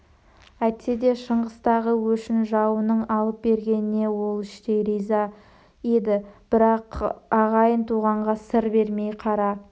әйтсе де шыңғыстағы өшін жауының алып бергеніне ол іштей риза еді бірақ ағайын-туғанға сыр бермей қара